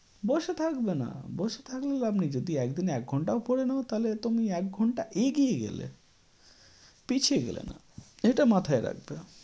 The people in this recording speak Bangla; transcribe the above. বসে থাকবে না। বসে থাকলেও লাভ নেই। যদি একদিনে এক ঘণ্টাও পড়ে নাও তাহলে তুমি এক ঘণ্টা এগিয়ে গেলে, পিছিয়ে গেলে না। এটা মাথায় রাখবে।